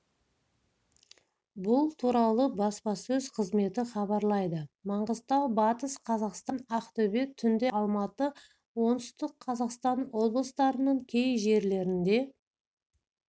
бұл туралы баспасөз қызметі хабарлайды маңғыстау батыс қазақстан ақтөбе түнде алматы оңтүстік қазақстан облыстарының кей жерлерінде